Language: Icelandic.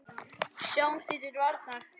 Snúumst því til varnar!